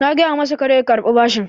Na gaya masa kar ya karɓi bashin